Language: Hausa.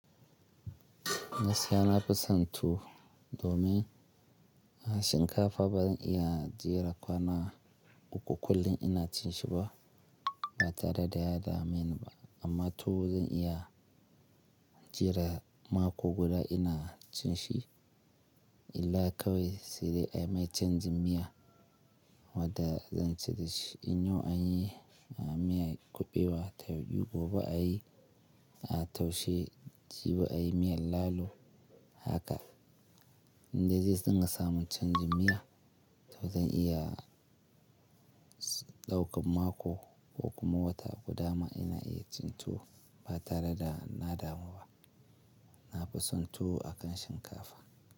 Gaskiya na fi son tuwo domin a shinkafa bazan iya jera kwana uku kullum ina cin shi ba, ba tare da ya dame ni ba. Amma tuwo zan iya jera mako guda ina cin shi in la kawe sai dai an yi canjin miya wadda zan ci da shi. In yau an yi miyar kuɓewa, ta yauɗi gobe a yi a taushe, jibi a yi miyar lalo haka. Inda dai zan ga samun canjin miya, to zan iya ɗaukan mako ko kuma wata guda ma ina iya cin tuwo ba tare da na damu ba. Na fi son tuwo a kan shinkafa.